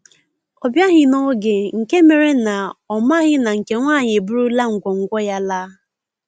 Ọ biaghi n'oge nke mere na ọ maghị na nke nwaanyị eburula ngwo ngwo ya laa